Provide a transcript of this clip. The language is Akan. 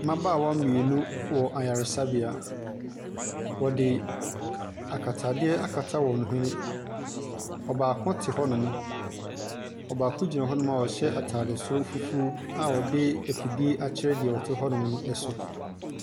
Mbabaawa mienu wɔ ayaresabea, wɔde akatadeɛ akata wɔn hwene. Ɔbaako te hɔ no mo, ɔbaako gyina hɔ nom ɔhyɛ ataade soro fufuuo a ɔde efidie akyerɛ deɛ ɔte hɔnom ɛso.